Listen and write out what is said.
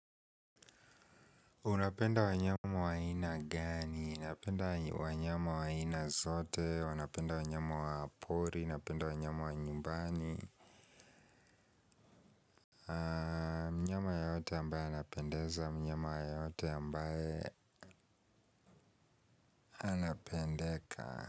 Unapenda wanyama wa aina gani, napenda wanyama wa aina zote, napenda wanyama wa pori, napenda wanyama wa nyumbani mnyama yoyote ambaye anapendeza, mnyama yoyote ambaye anapendeka.